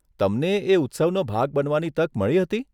તમને એ ઉત્સવનો ભાગ બનવાની તક મળી હતી?